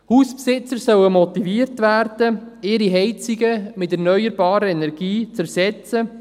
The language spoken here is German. Hausbesitzer sollen motiviert werden, ihre Heizungen durch erneuerbare Energien zu ersetzen.